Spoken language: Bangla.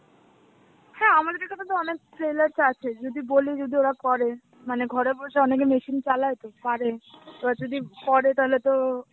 হ্যাঁ আমাদের এখানে তো অনেক tailors আছেই যদি বলি, যদি ওরা করে, মানে ঘরে বসে অনেকে machine চালায় তো পারে. এবার যদি করে তাহলে তো